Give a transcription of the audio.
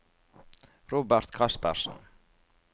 Robert Kaspersen